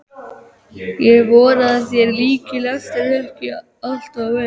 Ég vona að þér líki lesturinn ekki allt of vel.